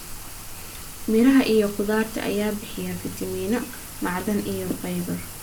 Miraha iyo khudaarta ayaa bixiya fiitamiino, macdan iyo fiber